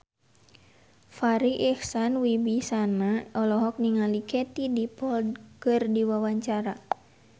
Farri Icksan Wibisana olohok ningali Katie Dippold keur diwawancara